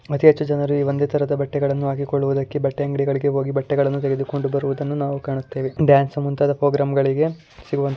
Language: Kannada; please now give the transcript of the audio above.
ಅತಿ ಹೆಚ್ಚು ಜನರು ಈ ಒಂದೇ ತರದ ಬಟ್ಟೆಗಳನ್ನು ಹಾಕಿಕೊಳ್ಳುದಕ್ಕೆ ಬಟ್ಟೆ ಅಂಗಡಿಗಳಿಗೆ ಹೋಗಿ ಬಟ್ಟೆಗಳನ್ನು ತೆಗೆದುಕೊಂಡು ಬರುವುದನ್ನು ನಾವು ಕಾಣುತ್ತೇವೆ. . ಡಾನ್ಸ್ ಮುಂತಾದ ಪ್ರೋಗ್ರಾಮ್ಗಳಿಗೆ ಸಿಗುವಂತ--